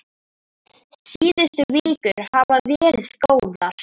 Síðustu vikur hafa verið góðar.